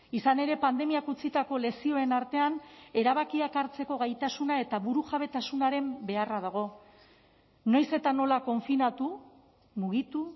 izan ere pandemiak utzitako lezioen artean erabakiak hartzeko gaitasuna eta burujabetasunaren beharra dago noiz eta nola konfinatu mugitu